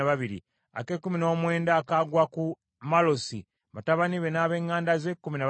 ak’amakumi abiri kagwa ku Eriyaasa, batabani be n’ab’eŋŋanda ze, kkumi na babiri;